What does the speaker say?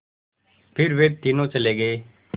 फिर वे तीनों चले गए